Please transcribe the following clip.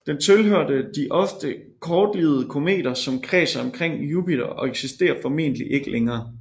Den tilhørte de ofte kortlivede kometer som kredser omkring Jupiter og eksisterer formentlig ikke længere